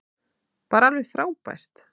Bara alveg frábært.